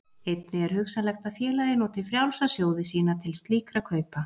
Einnig er hugsanlegt að félagið noti frjálsa sjóði sína til slíkra kaupa.